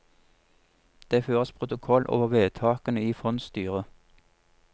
Det føres protokoll over vedtakene i fondsstyret.